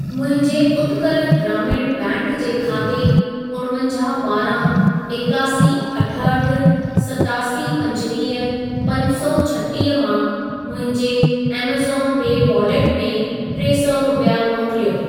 मुंहिंजे उत्कल ग्रामीण बैंक जे खाते उणवंजाहु ॿारहां एकासी अठहठि सतासी पंजवीह पंज सौ छटीह मां, मुंहिंजे ऐमज़ॉन पे वॉलेट में टे सौ रुपिया मोकिलियो।